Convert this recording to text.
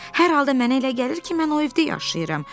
Hər halda mənə elə gəlir ki, mən o evdə yaşayıram.